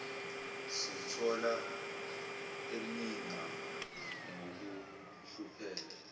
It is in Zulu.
simthola eninga ngokuhlupheka